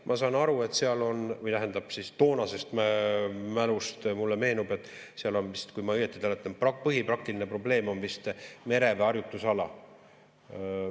Ma saan aru, toonasest mulle meenub, et seal vist, kui ma õigesti mäletan, põhiline praktiline probleem on mereväe harjutusala.